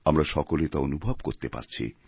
আমরা সকলে তা অনুভব করতে পারছি